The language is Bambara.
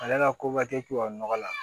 Ale ka ko ka kɛ tubabu nɔgɔ la